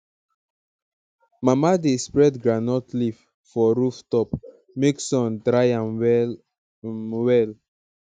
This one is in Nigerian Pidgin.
mama dey spread groundnut leaf for roof top make sun dry am well um well